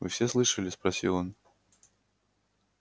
вы все слышали спросил он